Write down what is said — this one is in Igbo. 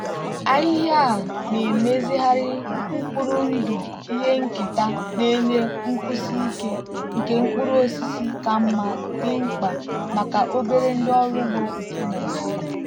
ahịhịa a na-emezigharị mkpụrụ ndụ ihe nketa na-enye nkwụsi ike nke mkpụrụ osisi ka mma dị mkpa maka obere ndị ọrụ ugbo nke nigeria.